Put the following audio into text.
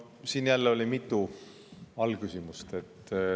Siin jälle oli mitu alaküsimust.